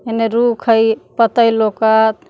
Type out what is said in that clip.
एने रुख है पतैय लौकत।